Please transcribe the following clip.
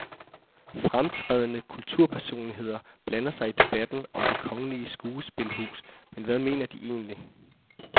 Fremtrædende kulturpersonligheder blander sig i debatten om det kongelige skuespilhus, men hvad mener de egentlig.